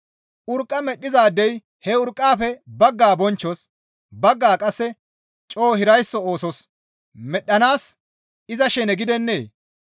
Urqqa medhdhizaadey he urqqaafe baggaa bonchchos, baggaa qasse coo hiraysso oosos medhdhanaas iza shene gidennee?